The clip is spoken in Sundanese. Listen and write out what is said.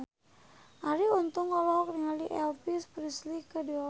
Arie Untung olohok ningali Elvis Presley keur diwawancara